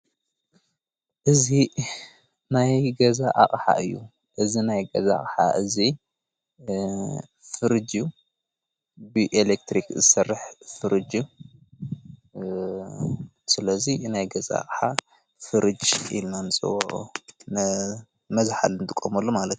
እዝ ናይ ገዛ ኣቕሓ እዩ እዝ ናይ ገዛ ቕሓ እዙ ፍርጅ እዩ ብኤሌክትርክ ሠርሕ ፍርድ ስለዙይ ናይ ገዛ ኣቕሓ ፍርጅ ኢልማን ዝው ነ መዝኃልን ጥቀመሉ ማለት አዩ::